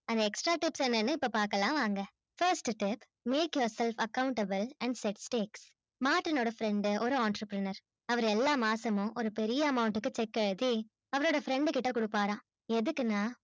அந்த extra tips என்னனு இப்ப பாக்கலாம் வாங்க first tip make yourself accountable and martin ஓட friend டு ஒரு entrepreneur அவரு எல்லா மாசமும் ஒரு பெரிய amount டுக்கு check எழுதி அவரோட friend டுகிட்ட கொடுப்பாராம் எதுக்குனா